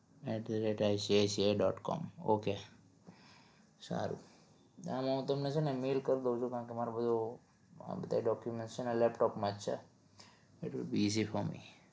atICICIdot com સારું આમાં હું તમને છે ને mail કરી દવું છું કારણ કે મારે બધો મારા document છે ને laptop માં જ છે એટલે easy for me